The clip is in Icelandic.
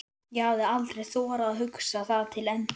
ég hafði aldrei þorað að hugsa það til enda.